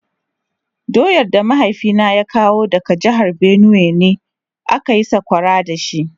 Doyar da mahaifina ya kawo daga jihar Benue ne aka yi sakwara da shi.